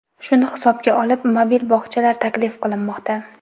Shuni hisobga olib, mobil bog‘chalar taklif qilinmoqda.